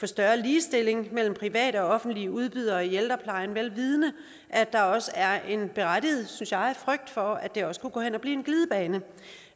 større ligestilling mellem private og offentlige udbydere i ældreplejen vel vidende at der også er en berettiget synes jeg frygt for at det også kunne gå hen og blive en glidebane